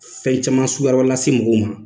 Fɛn caman suguya wɛrɛw lase mɔgɔw ma.